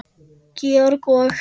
Georg og